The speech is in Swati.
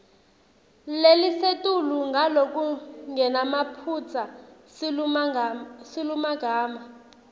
lelisetulu ngalokungenamaphutsa silulumagama